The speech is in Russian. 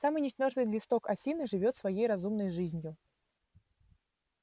самый ничтожный листок осины живёт своей разумной жизнью